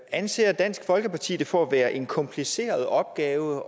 anser dansk folkeparti det for at være en kompliceret opgave